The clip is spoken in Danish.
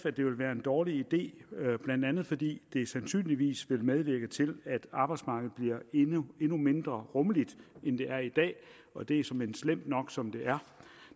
at det vil være en dårlig idé blandt andet fordi det sandsynligvis vil medvirke til at arbejdsmarkedet bliver endnu mindre rummeligt end det er i dag og det er såmænd slemt nok som det er